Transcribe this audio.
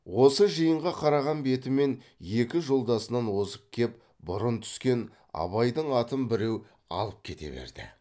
осы жиынға қараған бетімен екі жолдасынан озып кеп бұрын түскен абайдың атын біреу алып кете берді